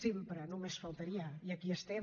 sempre només faltaria i aquí estem